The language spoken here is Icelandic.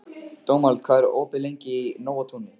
Dómald, hvað er opið lengi í Nóatúni?